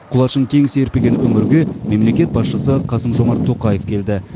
құлашын кең серпіген өңірге мемлекет басшысы қасым жомарт тоқаев келді